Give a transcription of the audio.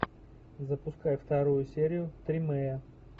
запускай вторую серию тримея